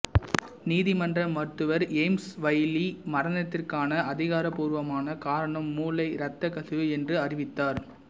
நீதிமன்ற மருத்துவர் James Wylie மரணத்திற்கான அதிகாரபூர்வமான காரணம் மூளை இரத்தக் கசிவு என்று அறிவித்தார்